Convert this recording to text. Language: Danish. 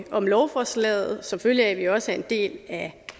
om lovforslaget som følge af at vi også er en del af